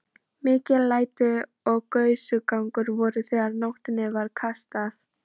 Mikil læti og gusugangur voru þegar nótinni var kastað.